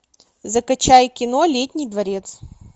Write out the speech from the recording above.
закачай кино летний дворец